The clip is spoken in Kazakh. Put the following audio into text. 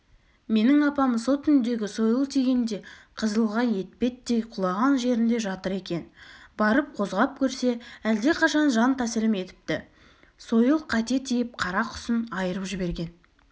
менің апам со түндегі сойыл тигенде қызылға етпеттей құлаған жерінде жатыр екен барып қозғап көрсе әлдеқашан жан тәсілім етіпті сойыл қате тиіп қарақұсын айырып жіберген